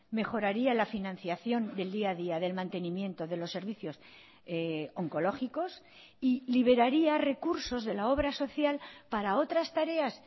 mejoraría la financiación del día a día del mantenimiento de los servicios oncológicos y liberaría recursos de la obra social para otras tareas